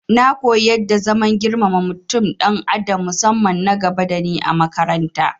Na koyi yadda zaman girmama mutum dan adam musamman nagaba dani a makarata